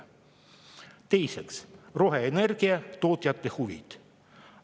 Teiseks, roheenergia tootjate huvid.